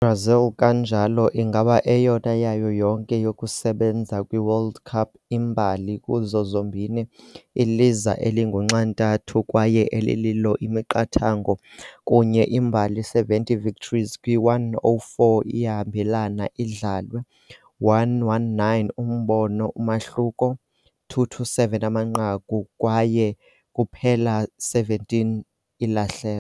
Brazil kanjalo ingaba eyona yayo yonke yokusebenza kwi World Cup imbali kuzo zombini iliza elingunxantathu kwaye elililo imiqathango kunye imbali 70 victories kwi-104 iyahambelana idlalwe, 119 imbono umahluko, 227 amanqaku kwaye kuphela 17 ilahleko.